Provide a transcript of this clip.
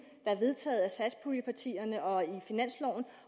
der er vedtaget af satspuljepartierne og i finansloven